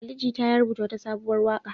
Ali Jita ya rubuta wata sabuwar waƙa.